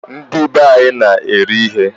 Ndibe anyị na-eri ihe